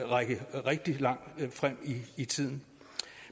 række rigtig langt frem i tiden